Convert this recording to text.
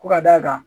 Ko ka d'a kan